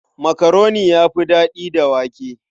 Makaroni ya fi daɗi da wake.